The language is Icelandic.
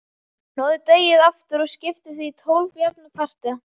Hnoðið deigið aftur og skiptið því í tólf jafna parta.